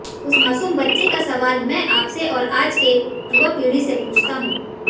उस मासूम बच्चे का सवाल मै आपसे और आज के युवा पीढ़ी से पूछता हू